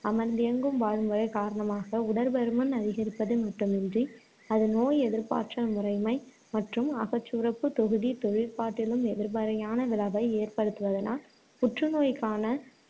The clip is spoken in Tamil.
அமர்ந்தியங்கும் வாழ்முறை காரணமாக உடற்பருமன் அதிகரிப்பது மட்டுமன்றி, அது நோய் எதிர்ப்பாற்றல் முறைமை, மற்றும் அகச்சுரப்புத் தொகுதி தொழிற்பாட்டிலும் எதிர்மறையான விளைவை ஏற்படுத்துவதனால் புற்றுநோய்க்கான